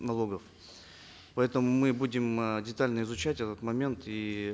налогов поэтому мы будем э детально изучать этот момент и